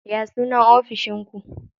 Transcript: Ya sunan ofishin ku?